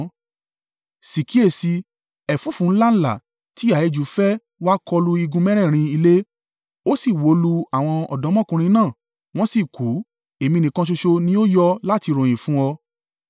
Sì kíyèsi i, ẹ̀fúùfù ńlá ńlá ti ìhà ijù fẹ́ wá kọlu igun mẹ́rẹ̀ẹ̀rin ilé, ó sì wó lu àwọn ọ̀dọ́mọkùnrin náà, wọ́n sì kú, èmi nìkan ṣoṣo ni ó yọ láti ròyìn fún ọ.